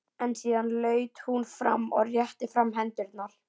En síðan laut hún fram og rétti fram hendurnar.